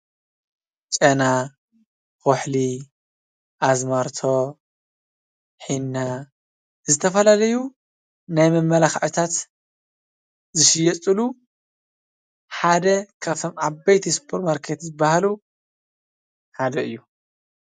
ጨና፣ ኩሕሊ፣ ኣዝማርቶ፣ ሕና ዝተፈላለዩ ናይ መማለክዒታት ዝሸየጥሉ ሓደ ካብቶም ዓበይቲ ስፖርማርኬት ዝበሃሉ ሓደ እዩ፡፡